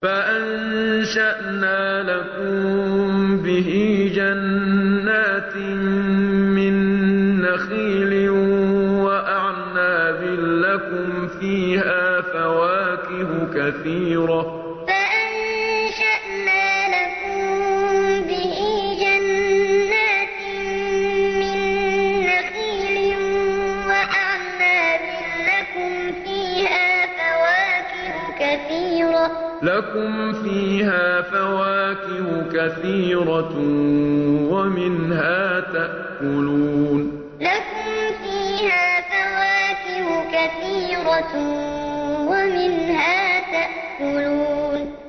فَأَنشَأْنَا لَكُم بِهِ جَنَّاتٍ مِّن نَّخِيلٍ وَأَعْنَابٍ لَّكُمْ فِيهَا فَوَاكِهُ كَثِيرَةٌ وَمِنْهَا تَأْكُلُونَ فَأَنشَأْنَا لَكُم بِهِ جَنَّاتٍ مِّن نَّخِيلٍ وَأَعْنَابٍ لَّكُمْ فِيهَا فَوَاكِهُ كَثِيرَةٌ وَمِنْهَا تَأْكُلُونَ